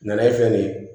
Nanaye fɛn nin ye